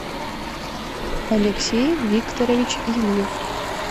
алексей викторович ильев